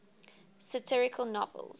satirical novels